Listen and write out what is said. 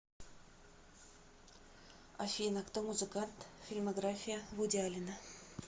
афина кто музыкант фильмография вуди аллена